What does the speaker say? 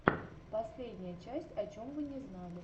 последняя часть о чем вы не знали